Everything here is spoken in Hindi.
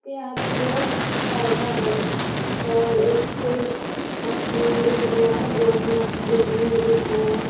यहां पे बहुत अच्छा पौधा है और एक कोई हाथ में अमरूद लिया है बहुत मस्त दिखने में दिख रहा है।